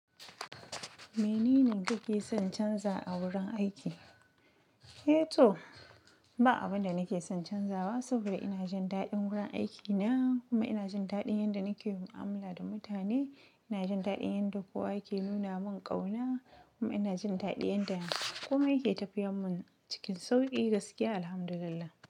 Mene ne kuke son canza a wurin aiki? Eh to, ba abin da nake son canzawa saboda ina jin daɗin wurin aikina kuma ina jin daɗin yanda nake yin mu'amala da mutane. Ina jin daɗin yanda kowa yake nuna mun ƙauna kuma ina jin daɗin yanda komai ke tafiyar mun cikin sauƙi gaskiya, Alhamdulillah.